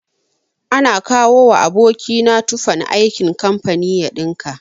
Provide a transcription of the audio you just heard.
Ana kawowa aboki na tufan aikin kamfani ya ɗinka.